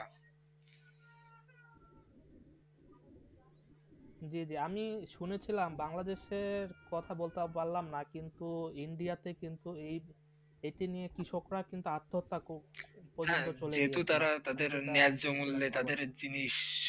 জি জি আমি শুনেছিলাম বাংলাদেশে কথা আর বলতে পারলাম না কিন্তু ইন্ডিয়াতে কিন্তু এই এটি নিয়ে কৃষকরা কিন্তু আত্মাতক খুব পর্যন্ত চলে গেছে, হ্যাঁ যেহেতু তারা তাদের নেয় জমলে তাদের জিনিস